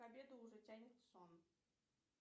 к обеду уже тянет в сон